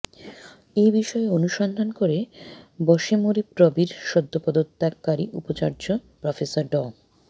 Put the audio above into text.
এ বিষয়ে অনুসন্ধান করে বশেমুরবিপ্রবির সদ্য পদত্যাগকারী উপাচার্য প্রফেসর ড